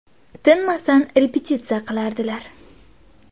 Tinmasdan repetitsiya qilardilar.